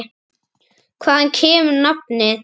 Hvaðan kemur nafnið?